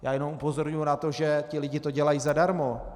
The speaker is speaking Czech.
Já jenom upozorňuji na to, že ti lidé to dělají zadarmo.